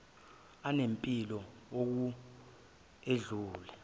anempilo ukw edlula